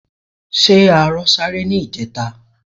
Ṣé arọ sáré ní ìjẹta?